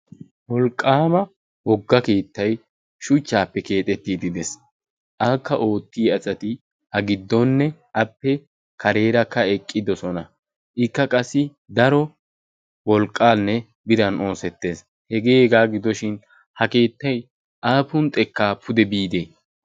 wolqqaama wogga keettay shuchchaappe keexettiidi dees. aakka oottiya asati ha giddonne appe kareerakka eqqidosona ikka qassi daro wolqqaanne biran oosettees hegee egaa gidoshin ha keettay aapun xekkaa pude biide?